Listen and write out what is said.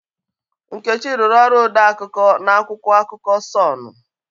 Nkechi rụrụ ọrụ ode akụkọ na akwụkwọ akụkọ Sọnụ.